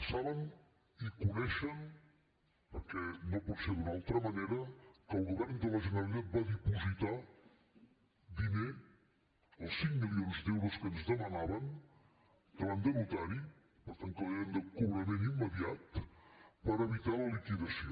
saben i coneixen perquè no pot ser d’una altra manera que el govern de la generalitat va dipositar diner els cinc milions d’euros que ens demanaven davant de notari per tant que eren de cobrament immediat per evitar la liquidació